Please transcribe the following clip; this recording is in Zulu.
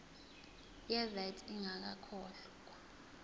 ye vat ingakakhokhwa